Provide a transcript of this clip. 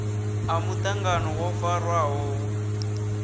a muṱangano wo farwaho hu